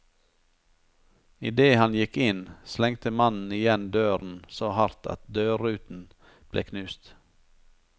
Idet han gikk inn, slengte mannen igjen døren så hardt at dørruten ble knust.